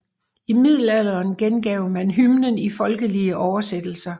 I Middelalderen gengav man hymnen i folkelige oversættelser